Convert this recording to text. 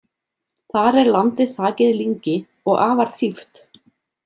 Þar er landið þakið lyngi og afar þýft.